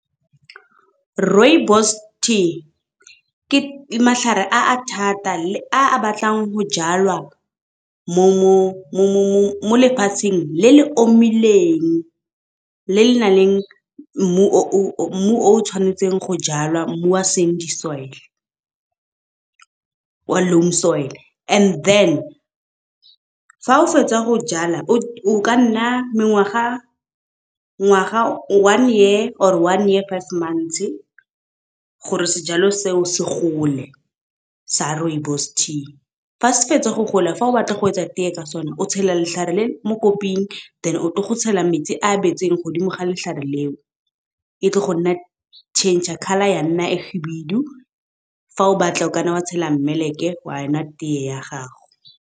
Rooibos tea ke matlhare a a thata le a batlang go jalwa mo lefatsheng le le omileng, le le nang le mmu o tshwanetseng go jala, mmu wa sandy soil, wa loan soil. And then fa o fetsa go jala o ka nna ngwaga one year or one year five months gore sejalo seo se gole sa rooibos tea. Fa se fetsa go gola fa o batla go etsa teye ka sone, o tshela letlhare le mo koping then, o tlile go tshela metsi a betseng godimo ga letlhare leo, e tle go nna change colour ya nna e shibidu, fa o batla o kanna wa tshela mmeleke wa enwa teye ya gago.